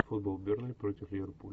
футбол бернли против ливерпуль